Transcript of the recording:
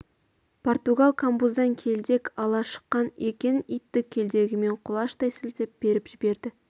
португал камбуздан келдек ала шыққан екен итті келдегімен құлаштай сілтеп періп жіберді